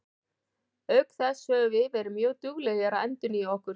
Auk þess höfum við verið mjög duglegir að endurnýja okkur.